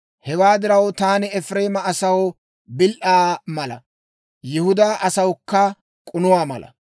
Hewaa diraw, taani Efireema asaw bil"aa mala, Yihudaa asawukka k'unuwaa mala.